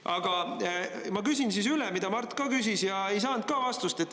Aga ma küsin siis üle, mida Mart ka küsis ja ei saanud ka vastust.